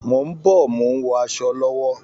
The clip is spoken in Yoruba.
Mò ń bọ̀, mò ń wọ asọ lọ́wọ́